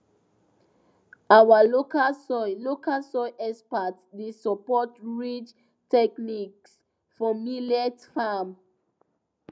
our local soil local soil experts dey support ridge techniques for millet farm